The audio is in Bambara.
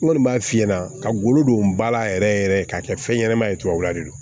N kɔni b'a f'i ɲɛna ka golo don ba la yɛrɛ yɛrɛ k'a kɛ fɛn ɲɛnama ye tubabu la de do